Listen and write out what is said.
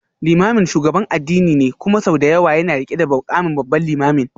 Limamin shugaban addini ne kuma sau da yawa yana rike da mukamin Babban Limamin.